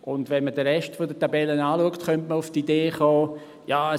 Wenn man den Rest der Tabelle betrachtet, könnte man auf die Idee kommen: